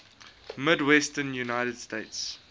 midwestern united states